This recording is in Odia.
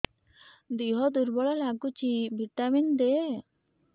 ଦିହ ଦୁର୍ବଳ ଲାଗୁଛି ଭିଟାମିନ ଦେ